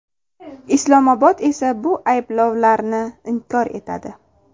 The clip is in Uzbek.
Islomobod esa bu ayblovlarni inkor etadi.